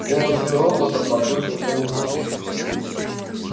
в голосе робота послышался ужас